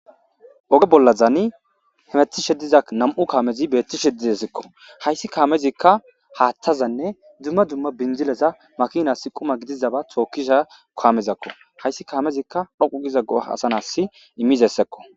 oge bollazaani hemeti sheddiza nam7u kaamezi beetti shedizesikko hayssi kaamezikka haathtazanne dumma dumma binjileza makinas quma gidizaba tookkisha koamezakko hayssi kaamezikka dhoqu giza go hasanas immizessekko